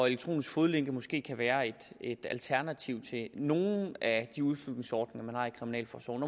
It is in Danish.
elektroniske fodlænke måske kan være et alternativ til nogle af de udslusningsordninger man har i kriminalforsorgen